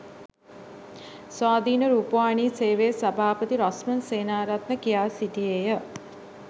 ස්වාධීන රුපවාහිනී සේවයේ සභාපති රොස්මන්ඩ් සේනාරත්න කියා සිටියේය